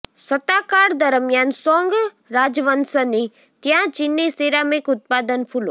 સત્તાકાળ દરમિયાન સોંગ રાજવંશની ત્યાં ચિની સિરામિક ઉત્પાદન ફૂલો